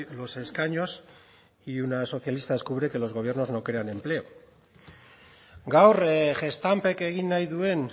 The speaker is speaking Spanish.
los escaños y una socialista descubre que los gobiernos no crean empleo gaur gestampek egin nahi duen